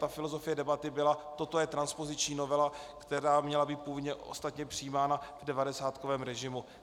Ta filozofie debaty byla: toto je transpoziční novela, která měla být původně ostatně přijímána v devadesátkovém režimu.